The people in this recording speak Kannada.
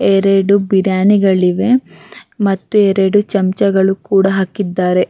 ಎರಡು ಬಿರಿಯಾನಿಗಳಿವೆ ಮತ್ತು ಎರಡು ಚಮಚ ಗಳು ಕೂಡ ಹಾಕಿದ್ದಾರೆ-